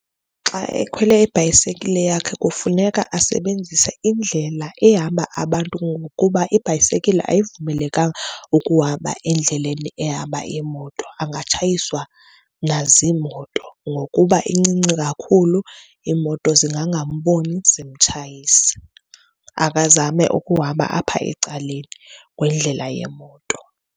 Xa ekhwele ibhayisekile yakhe kufuneka asebenzise indlela ehamba abantu ngokuba ibhayisekile ayivumelekanga ukuhamba endleleni ehamba iimoto angatshayiswa naziimoto ngokuba incinci kakhulu iimoto, zingangamboni, zimtshayise. Akhe azame ukuhamba apha ecaleni kwendlela yeemoto.